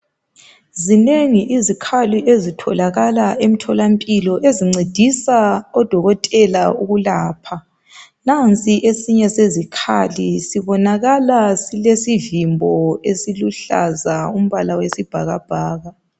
Zinengi izikhali ezitholakala emtholampilo ezincedisa odokotela ukwelapha. Nansi esinye sezikhali sibonakala silesivimbo esiluhlaza okombala wesibhakabhaka.